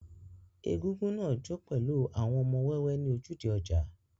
Egúngún náà jó pẹ̀lú àwọn ọmọ wẹ́wẹ́ ní ojúde ọjà.